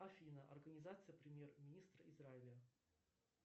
афина организация премьер министра израиля